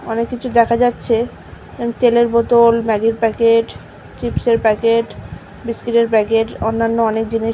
অনেক কিছু দেখা যাচ্ছে আন্ তেলের বোতল ম্যাগি -ব় প্যাকেট চিপস -এব় প্যাকেট বিস্কিট - এব় প্যাকেট অন্যান্য অনেক জিনিস।